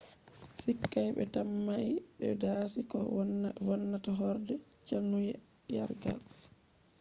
sikay ɓe tammai ɓe dasi ko vonnata horde cannyargal